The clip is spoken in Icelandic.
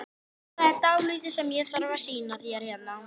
Magnús Hlynur: En óttist þið rútuslys hérna á þessu svæði?